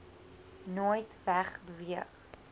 nooit weg beweeg